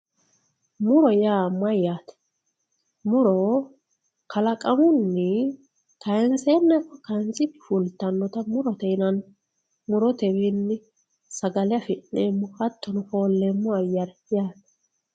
muro yaa mayyate muro kalaqamunni kaanseenna ikko kaansikki fultawoota murote yinanni murotewiinni sagale afi'neemmo hattono folleemo ayyire